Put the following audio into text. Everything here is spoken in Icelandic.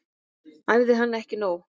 Æfði hana ekki nóg.